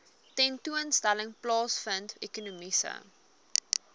tentoonstelling plaasvind ekonomiese